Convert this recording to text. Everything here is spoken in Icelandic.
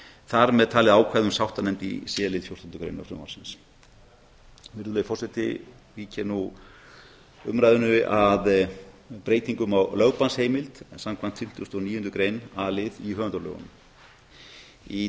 þar með talin ákvæði um sáttanefnd í c lið fjórtándu greinar frumvarpsins vík ég nú umræðunni að breytingum á lögbannsheimild en saman fimmtugustu og níundu grein a lið í höfundalögunum í tuttugustu